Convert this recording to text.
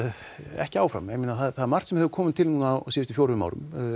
ekki áfram það er margt sem hefur komið til á síðustu fjórum árum